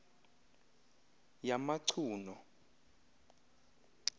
yamacuno